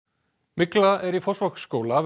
mygla er í Fossvogsskóla